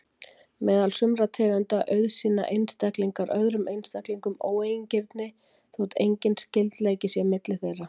Meðal sumra tegunda auðsýna einstaklingar öðrum einstaklingum óeigingirni þótt enginn skyldleiki sé milli þeirra.